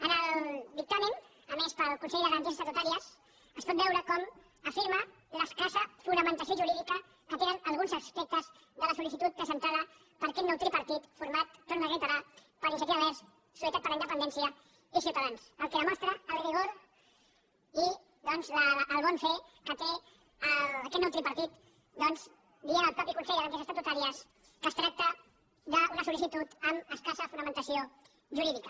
en el dictamen emès pel consell de garanties estatutàries es pot veure com afirma l’escassa fonamentació jurídica que tenen alguns aspectes de la sol·sentada per aquest nou tripartit format ho torno a reiterar per iniciativa verds solidaritat per la independència i ciutadans fet que demostra el rigor i doncs el bon fer que té aquest nou tripartit en dir el mateix consell de garanties estatutàries que es tracta d’una sol·licitud amb escassa fonamentació jurídica